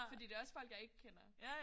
Fordi det også folk jeg ikke kender